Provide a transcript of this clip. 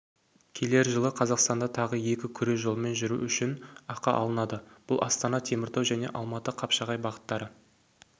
келер жылы қазақстанда тағы екі күре жолмен жүру үшін ақы алынады бұл астана-теміртау және алматы-қапшағай бағыттары